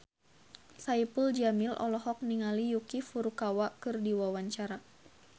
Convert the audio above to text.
Saipul Jamil olohok ningali Yuki Furukawa keur diwawancara